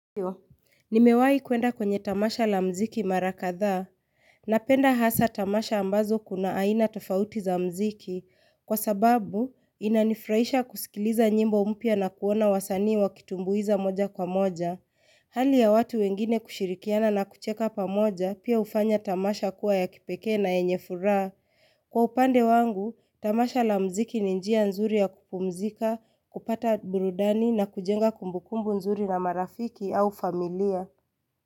Nimewahi kwenda kwenye tamasha la mziki marakadhaa. Napenda hasa tamasha ambazo kuna aina tofauti za mziki. Kwa sababu, inanifurahisha kusikiliza nyimbo mpya na kuona wasanii wa kitumbuiza moja kwa moja. Hali ya watu wengine kushirikiana na kucheka pa moja, pia hufanya tamasha kuwa ya kipeke na yenye furaha. Kwa upande wangu, tamasha la mziki ninjia nzuri ya kupumzika, kupata burudani na kujenga kumbukumbu nzuri na marafiki au familia.